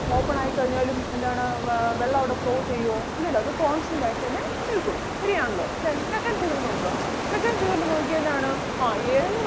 open ആയി കഴിഞ്ഞാലും എന്താണ് ആഹ് വെള്ളം അവിടെ flow ചെയ്യുവോ ഇല്ലല്ലോ അത് constant ആയി തന്നെ നിൽക്കും ശെരിയാണല്ലോ. second തീർന്നു അപ്പൊ second തീർന്നു നോക്കിയേ എന്താണ് ആഹ് A എന്ന്